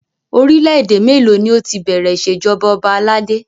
Orílẹ̀ èdè mélòó ni ó ti bẹ̀rẹ̀ ìṣèjọba ọba aládé?